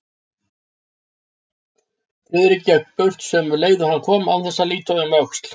Friðrik gekk burt sömu leið og hann kom án þess að líta um öxl.